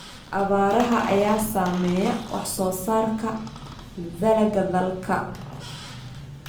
Abaaraha ayaa saameeya wax soo saarka dalagga dalka.